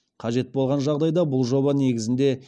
қажет болған жағдайда бұл жоба негізінде